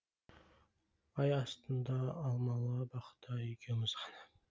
ай астында алмалы бақта екеуміз ғана